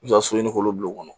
I bɛ taa so ɲini k'olu bila o kɔnɔ